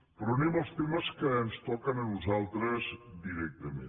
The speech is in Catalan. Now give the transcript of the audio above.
però anem als temes que ens toquen a nosaltres directament